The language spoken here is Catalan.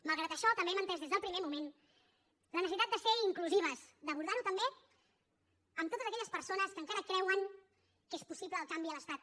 malgrat això també hem entès des del primer moment la necessitat de ser inclusives d’abordar ho també amb totes aquelles persones que encara creuen que és possible el canvi a l’estat